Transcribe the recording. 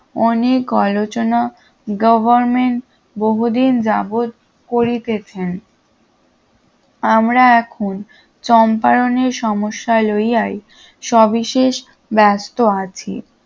অনেক আলোচনা গভর্নমেন্ট বহুদিন যাবত করিতেছেন আমরা এখন চম্পায়নের সমস্যা লইয়াই স্ববিশেষ ব্যস্ত আছি